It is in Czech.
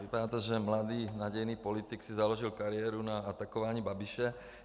Vypadá to, že mladý nadějný politik si založil kariéru na atakování Babiše.